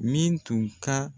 Min tun ka